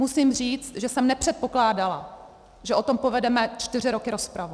Musím říct, že jsem nepředpokládala, že o tom povedeme čtyři roky rozpravu.